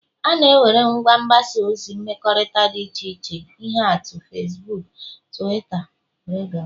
enwere ngwa mgbasa ozi mmekọrịta dị iche iche ihe atụ Fesbuuk, Twitta wdg